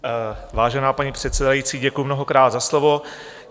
Vážená paní předsedající, děkuji mnohokrát za slovo.